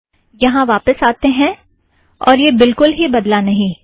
यहाँ वापस आतें हैं और यह बिलकुल ही बदला नहीं है